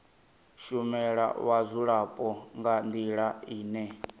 shumela vhadzulapo nga ndila ine